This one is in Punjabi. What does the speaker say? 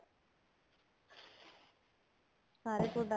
ਸਾਰੇ